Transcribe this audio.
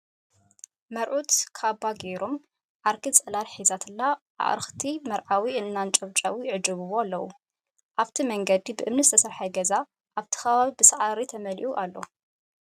መርዑት ካባ ገሮም ዓርኪ ፅላል ሒዛትላ እዕርክቲ መርዓዊ እናንጨብጨቡ ይዕጅብዎ ኣልዉ ። ኣብቲ ምንግዲ ብእምኒ ዝትሰርሐ ግዛ ኣብቲ ክባቢ ብሳዕሪ ተምሊኡ ኣሎ።